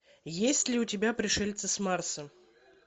есть ли у тебя пришельцы с марса